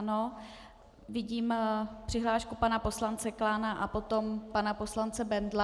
Ano, vidím přihlášku pana poslance Klána a potom pana poslance Bendla.